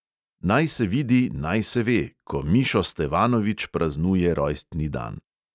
Naj se vidi, naj se ve, ko mišo stevanovič praznuje rojstni dan.